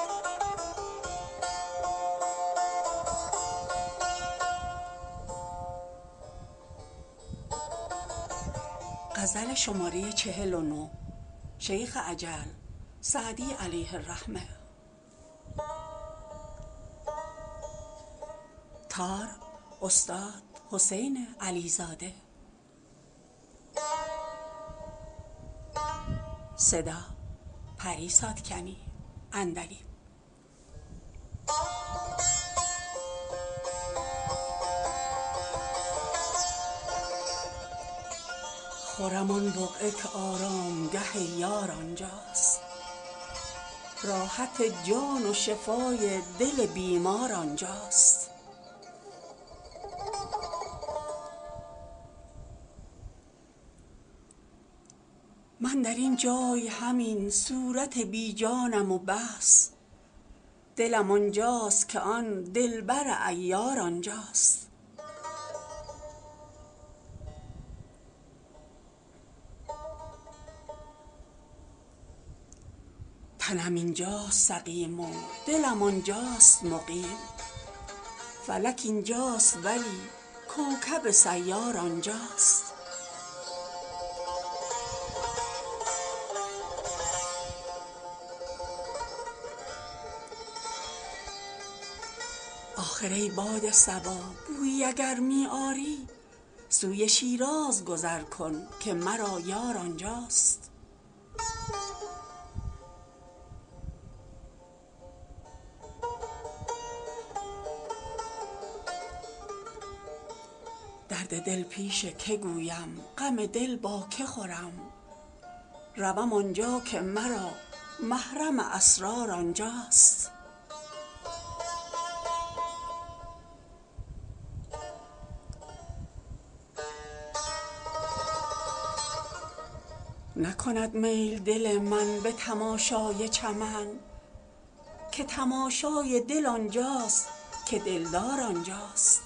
خرم آن بقعه که آرامگه یار آنجاست راحت جان و شفای دل بیمار آنجاست من در این جای همین صورت بی جانم و بس دلم آنجاست که آن دلبر عیار آنجاست تنم اینجاست سقیم و دلم آنجاست مقیم فلک اینجاست ولی کوکب سیار آنجاست آخر ای باد صبا بویی اگر می آری سوی شیراز گذر کن که مرا یار آنجاست درد دل پیش که گویم غم دل با که خورم روم آنجا که مرا محرم اسرار آنجاست نکند میل دل من به تماشای چمن که تماشای دل آنجاست که دلدار آنجاست